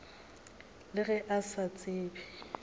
le ge a sa tsebe